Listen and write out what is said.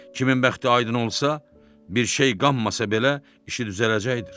Kimin bəxti aydın olsa, bir şey qanmasa belə, işi düzələcəkdir.